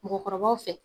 Mɔgɔkɔrɔbaw fɛ